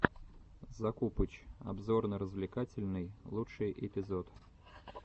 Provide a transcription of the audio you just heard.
закупыч обзорно развлекательный лучший эпизод